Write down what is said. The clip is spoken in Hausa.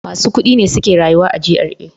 Masu kudi ne suke rayuwa a GRA.